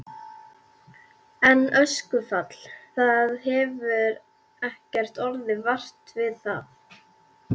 En öskufall, það hefur ekkert orðið vart við það?